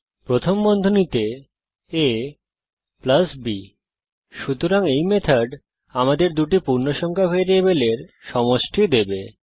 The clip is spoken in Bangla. প্রথম বন্ধনীতে ab সুতরাং এই মেথড আমাদের দুটি পূর্ণসংখ্যা ভ্যারিয়েবলের সমষ্টি দেবে